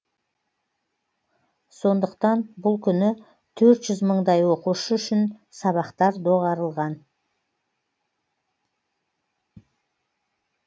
сондықтан бұл күні төрт жүз мыңдай оқушы үшін сабақтар доғарылған